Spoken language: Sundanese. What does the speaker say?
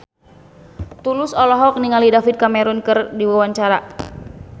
Tulus olohok ningali David Cameron keur diwawancara